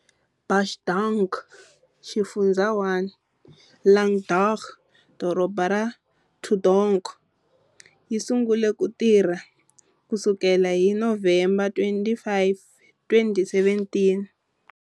,Bach Dang, Xifundzha 1-Linh Dong, Doroba ra Thu Duc, yi sungule ku tirha ku sukela hi November 25, 2017.